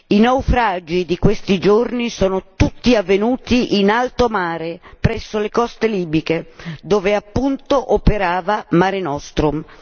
I naufragi di questi giorni sono tutti avvenuti in alto mare, presso le coste libiche, dove appunto operava Mare Nostrum.